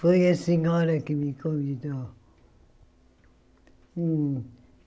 Foi a senhora que me convidou.